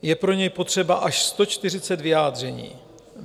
Je pro něj potřeba až 140 vyjádření.